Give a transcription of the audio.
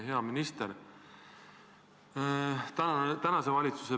Hea minister!